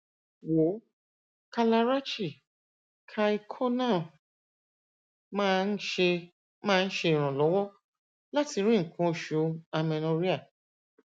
wòó kalarachi kai choornam máa ń ṣe máa ń ṣe iranlọwọ láti rí nnkan oṣù amenorrhea